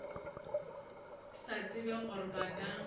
sa tsebe gore ba ka